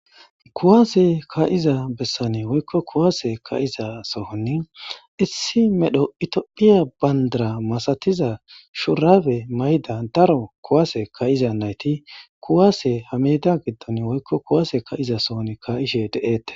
kuwase ka7iza bessane woykko kuwase ka7iza sohonni issi medho itiophiya bandara masatiza shurabe mayda daro kuwase kayiza nayti kuwaase hameda giddon woykko kuwaase ka7iza sohon ka7ishe de7eette